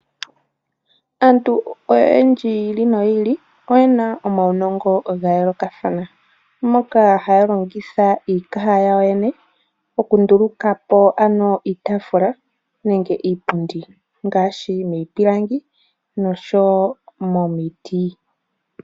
Aantu oyendji yi ili noye ili oye na omaunongo ga yoolokathana moka haya longitha iikaha yawo yoyene okunduluka po iitaafula niipundi ngaashi miipilangi noshowo momiti.